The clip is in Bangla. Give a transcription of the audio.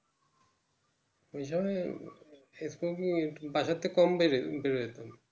এহান Smoking বাসাতে বেরোতে বেড়াতাম